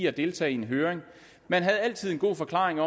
at deltage i en høring man havde altid en god forklaring